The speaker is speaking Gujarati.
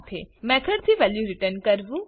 મેથોડ થી વેલ્યુ રીટર્ન કરવું